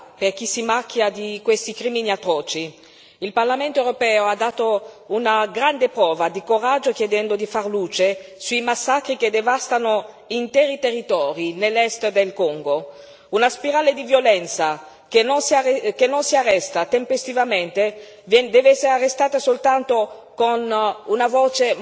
Il Parlamento europeo ha dato una grande prova di coraggio, chiedendo di far luce sui massacri che devastano interi territori nell'est del Congo. Una spirale di violenza che non si arresta tempestivamente deve essere arrestata soltanto con una voce molto più autorevole, con un intervento tempestivo.